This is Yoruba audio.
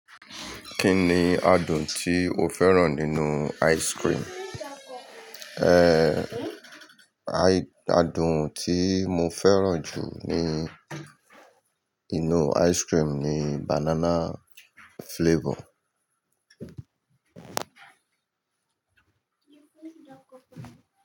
Kí ni adùn tí o fẹ́ràn nínú ice cream? Adùn tí mo fẹ́ràn jù nínú ice cream ni banana flavor.